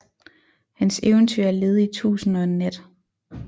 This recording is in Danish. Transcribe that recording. Hans eventyr er led i Tusind og en Nat